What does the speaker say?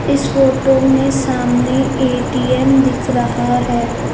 इस फोटो में सामने ए_टी_एम दिख रहा है।